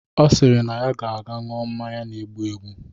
Ọ sịrị na ya ga-anwụ mmanya na-egbu egbu